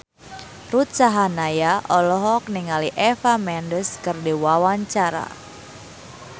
Ruth Sahanaya olohok ningali Eva Mendes keur diwawancara